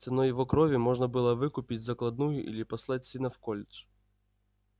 ценой его крови можно было выкупить закладную или послать сына в колледж